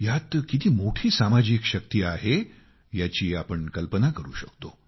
यात किती मोठी सामाजिक शक्ती आहे याची आपण कल्पना करु शकतो